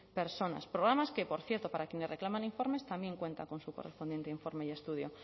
personas programa que por cierto para quienes reclaman informes también cuenta con su correspondiente informe y estudio